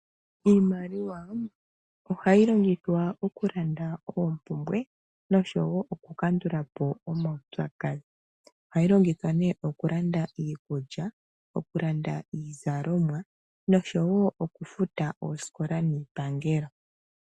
Iimaliwa ohayi longithwa oku landa oompumbwe nosho wo oku kandula po omaupyakadhi. Ohayi longithwa nee oku landa iikulya, oku landa iizalomwa noshowo okufuta oosikola niipangelo.